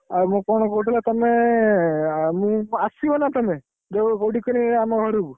ଆଉ ମୁଁ କଣ କହୁଥିଲି ବା ତମେ ଆସିବ ନା ତମେ? ଆମ ଘରକୁ?